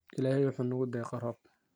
Illahey wuxu nugudeeqe roob.